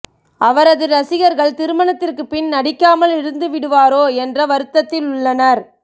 அவரது ரசிகர்கள் திருமணத்திற்கு பின் நடிக்காமல் இருந்துவிடுவாரோ என்ற வருத்தத்தில் உள்ளனர்